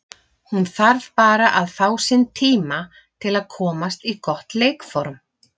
Hún þarf bara að fá sinn tíma til að komast í gott leikform.